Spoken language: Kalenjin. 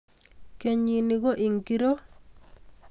Kenyini ko ingiro?